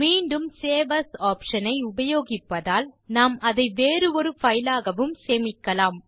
மீண்டும் save as option ஐ உபயோகிப்பதால் நாம் அதை வேறு ஒரு பைலாகவும் சேமிக்கலாம்